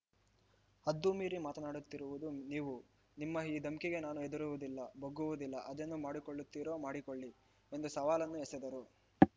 ಹದ್ದುಮೀರಿ ಮಾತನಾಡುತ್ತಿರುವುದು ನೀವು ನಿಮ್ಮ ಈ ಧಮ್ಕಿಗೆ ನಾನು ಹೆದರುವುದಿಲ್ಲ ಬಗ್ಗುವುದಿಲ್ಲ ಅದೇನು ಮಾಡಿಕೊಳ್ಳುತ್ತೀರೊ ಮಾಡಿಕೊಳ್ಳಿ ಎಂದು ಸವಾಲನ್ನೂ ಎಸೆದರು